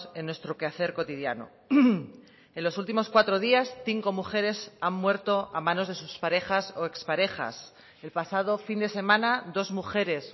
en nuestro quehacer cotidiano en los últimos cuatro días cinco mujeres han muerto a manos de sus parejas o exparejas el pasado fin de semana dos mujeres